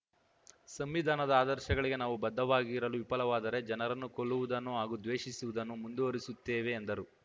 ಸಂವಿಧಾನದ ಆದರ್ಶಗಳಿಗೆ ನಾವು ಬದ್ಧವಾಗಿರಲು ವಿಫಲವಾದರೆ ಜನರನ್ನು ಕೊಲ್ಲುವುದನ್ನು ಹಾಗೂ ದ್ವೇಷಿಸುವುದನ್ನು ಮುಂದುವರಿಸುತ್ತೇವೆ ಎಂದರು